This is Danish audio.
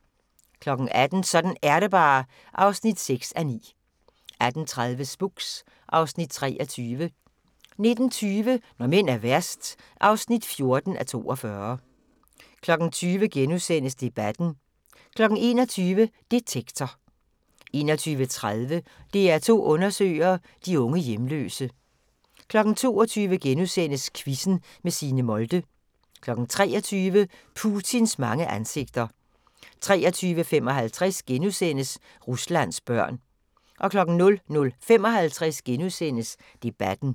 18:00: Sådan er det bare (6:9) 18:30: Spooks (Afs. 23) 19:20: Når mænd er værst (14:42) 20:00: Debatten * 21:00: Detektor 21:30: DR2 Undersøger: De unge hjemløse 22:00: Quizzen med Signe Molde * 23:00: Putins mange ansigter 23:55: Ruslands børn * 00:55: Debatten *